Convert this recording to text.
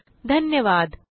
सहभागासाठी धन्यवाद